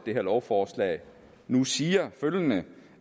her lovforslag nu siger følgende